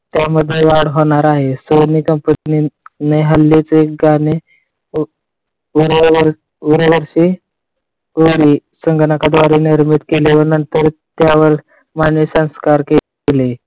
त्यामध्ये वाढ होणार आहे. सोनी कंपनीने हल्ली एक गाणे संगणकाद्वारे निर्मित केली आहे. नंतर त्यावर मानवी संस्कार केले.